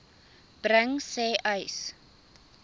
bring sê uys